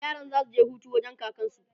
yaran zasu je Hutu wurin kakansu